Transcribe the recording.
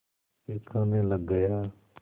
फिर खाने लग गया